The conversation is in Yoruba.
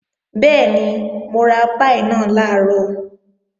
Bẹ́ẹ̀ni, mo ra páì náà làárọ̀